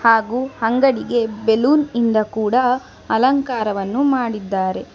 ಹಾಗೂ ಅಂಗಡಿಗೆ ಬೇಲೂನ್ ಇಂದ ಕೂಡ ಅಲಂಕಾರವನ್ನು ಮಾಡಿದ್ದಾರೆ.